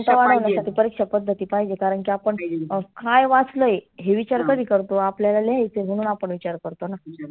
वाढवण्यासाठी परिक्षा पद्धती पाहिजे कारण की आपण अं काय वाचलय हे विचार कधी करतो? आपल्याला लिहायच आहे म्हणून आपण विचार करतोना.